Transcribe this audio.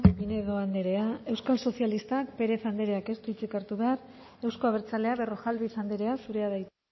pinedo andrea euskal sozialistak pérez andreak ez du hitzik hartu behar euzko abertzaleak berrojalbiz andrea zurea da hitza